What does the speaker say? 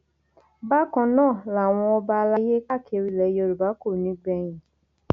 bákan náà làwọn ọba àlàyé káàkiri ilẹ yorùbá kò ní í gbẹyìn